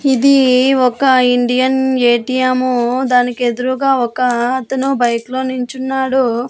ఇది ఒక Indian A T M ము దానికి ఎదురుగా ఒక అతను బైక్ లో నుంచున్నాడు.